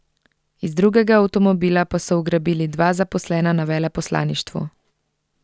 Iz drugega avtomobila pa so ugrabili dva zaposlena na veleposlaništvu.